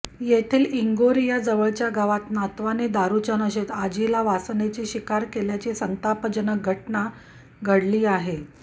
येथील इंगोरिया जवळच्या गावात नातावाने दारुच्या नशेत आजीला वासनेची शिकार केल्याची संतापजनक घटना घडली आहे